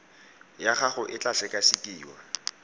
ya gago e tla sekasekiwa